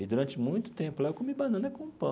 E, durante muito tempo lá, eu comi banana com pão.